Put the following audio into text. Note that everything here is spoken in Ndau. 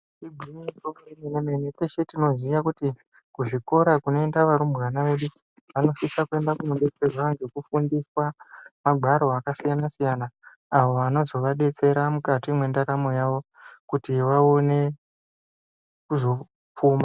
Igwinyiso yemene mene, teshe tinoziya kuzvikora kunoenda varumbwana vedu vanosisa kuenda kunodetserwa zvekufundiswa magwaro akasiyana siyana awo anozovadetsera mukati mendaramo yavo kuti vaone kuzopfuma.